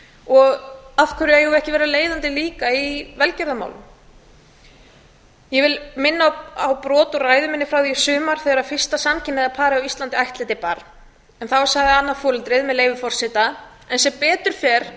og af hverju eigum við ekki að vera leiðandi líka í velgjörðarmálum ég vil minna á brot úr ræðu minni frá því í sumar þegar fyrsta samkynhneigða parið á íslandi ættleiddi barn en þá sagði annað foreldrið með leyfi forseta en sem betur fer